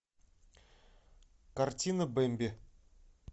картина бэмби